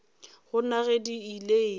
gana ge di ile eng